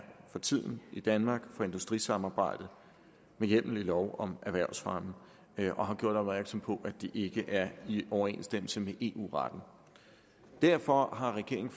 for tiden i danmark for industrisamarbejde med hjemmel i lov om erhvervsfremme og har gjort opmærksom på at det ikke er i overensstemmelse med eu retten derfor har regeringen